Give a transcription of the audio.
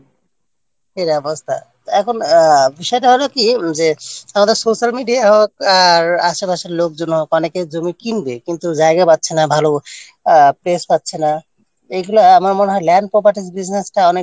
এই অবস্থা তা এখন বিষয়টা হল কী যে আমাদের Social Media আহ আশেপাশের লোকজন অনেকে জমি কিনবে কিন্তু জায়গা পাচ্ছে না ভালো আহ Place পাচ্ছে না এগুলো আমার মনে হয় Land Properties Business-টা অনেক